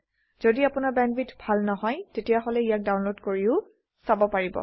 যদি আপোনাৰ বেণ্ডৱিডথ ভাল নহয় তেতিয়াহলে ইয়াক ডাউনলোড কৰিও চাব পাৰে